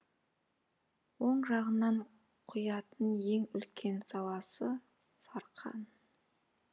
оң жағынан құятын ең үлкен саласы сарқан